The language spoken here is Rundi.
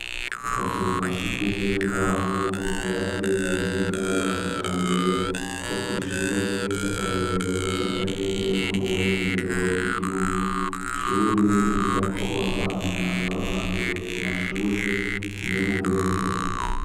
Akazuka sugumwe k'abahungu kubatse mu buhinga bwa kija mbere ko kw'ishure ry'akarorero ry'akarere ko mu burengero bw'igihugu ishure riga ko abana baba ba mbere ku mashure muyo mu burengero.